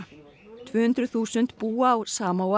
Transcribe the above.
tvö hundruð þúsund búa á